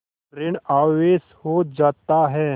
ॠण आवेश हो जाता है